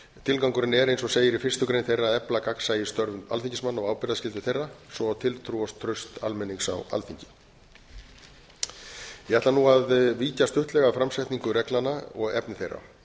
tilgangurinn er eins og segir í fyrstu grein þeirra að efla gagnsæi í störfum alþingismanna og ábyrgðarskyldu þeirra svo og tiltrú á traust almennings á alþingi ég ætla nú að víkja stuttlega að framsetningu reglnanna og efni þeirra